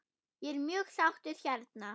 Ég er mjög sáttur hérna.